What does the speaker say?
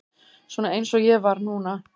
Svona eins og ég var núna.